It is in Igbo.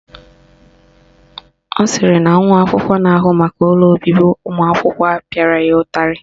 Ọ sịrị na nwa akwụkwọ na-ahụ maka ụlọ obibi ụmụakwụkwọ pịara ya ụtarị